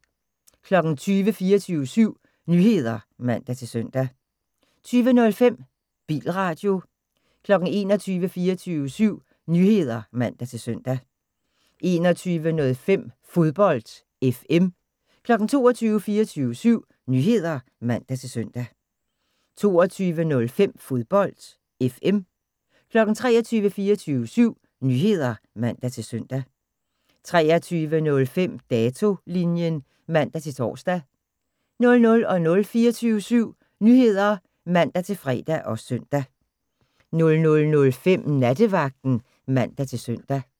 20:00: 24syv Nyheder (man-søn) 20:05: Bilradio 21:00: 24syv Nyheder (man-søn) 21:05: Fodbold FM 22:00: 24syv Nyheder (man-søn) 22:05: Fodbold FM 23:00: 24syv Nyheder (man-søn) 23:05: Datolinjen (man-tor) 00:00: 24syv Nyheder (man-fre og søn) 00:05: Nattevagten (man-søn)